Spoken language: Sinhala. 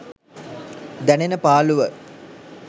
දැනෙන පාලුව.